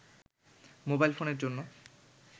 mobile ফোনের জন্য